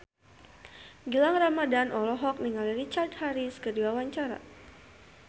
Gilang Ramadan olohok ningali Richard Harris keur diwawancara